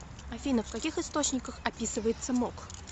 афина в каких источниках описывается мок